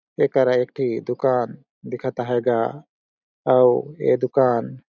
एकरा एक ठी दुकान दिखत है गा अउ ये दुकान--